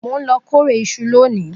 Mo n lọ kórè ìṣù lóni